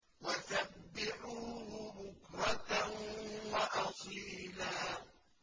وَسَبِّحُوهُ بُكْرَةً وَأَصِيلًا